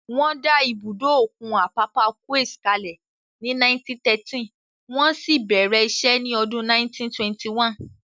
Wọ́n dá ibùdó òkun Apapa Quays kalẹ̀ ní 1913, wọ́n sì bẹ̀rẹ̀ iṣẹ́ ní ọdún 1921